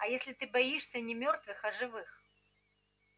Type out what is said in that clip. а если ты боишься не мёртвых а живых